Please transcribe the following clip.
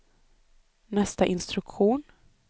nästa instruktion